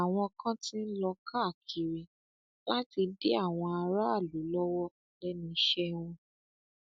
àwọn kan ti ń lọ káàkiri láti dí àwọn aráàlú lọwọ lẹnu iṣẹ wọn